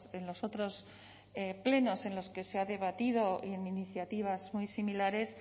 en los otros plenos en los que se ha debatido en iniciativas muy similares